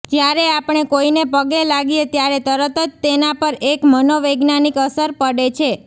જ્યારે આપણે કોઈને પગે લાગીએ ત્યારે તરત જ તેના પર એક મનોવૈજ્ઞાનિક અસર પડે છે